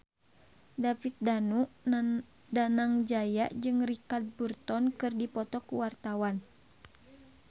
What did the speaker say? David Danu Danangjaya jeung Richard Burton keur dipoto ku wartawan